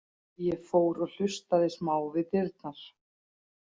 Ég fór og hlustaði smá við dyrnar.